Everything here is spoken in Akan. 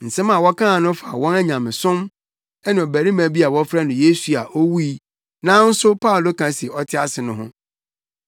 Nsɛm a wɔkaa no fa wɔn nyamesom ne ɔbarima bi a wɔfrɛ no Yesu a owui nanso Paulo ka se ɔte ase no ho.